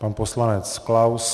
Pan poslanec Klaus.